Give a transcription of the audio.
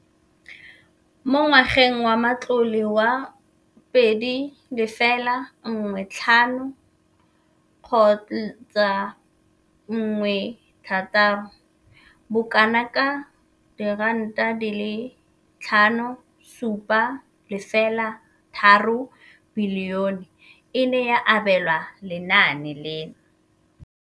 Mo ngwageng wa matlole wa 2015,16, bokanaka R5 703 bilione e ne ya abelwa lenaane leno.